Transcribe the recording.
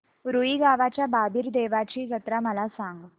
रुई गावच्या बाबीर देवाची जत्रा मला सांग